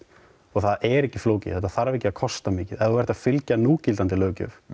það er ekki flókið þetta þarf ekki að kosta mikið ef þú ert að fylgja núgildandi löggjöf